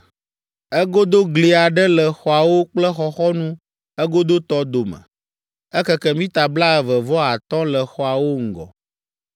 Egodogli aɖe le xɔawo kple xɔxɔnu egodotɔ dome. Ekeke mita blaeve vɔ atɔ̃ le xɔawo ŋgɔ.